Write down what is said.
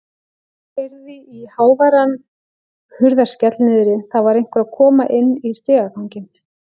Heyrði háværan hurðarskell niðri, það var einhver að koma inn í stigaganginn.